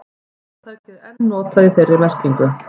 hugtakið er enn notað í þeirri merkingu